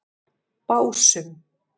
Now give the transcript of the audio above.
Básum